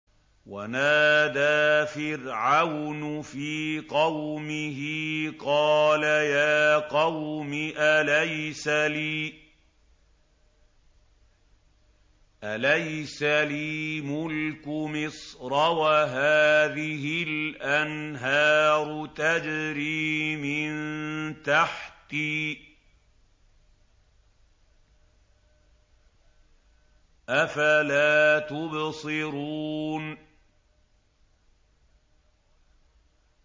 وَنَادَىٰ فِرْعَوْنُ فِي قَوْمِهِ قَالَ يَا قَوْمِ أَلَيْسَ لِي مُلْكُ مِصْرَ وَهَٰذِهِ الْأَنْهَارُ تَجْرِي مِن تَحْتِي ۖ أَفَلَا تُبْصِرُونَ